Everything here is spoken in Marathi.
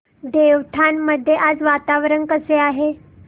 देवठाण मध्ये आज वातावरण कसे आहे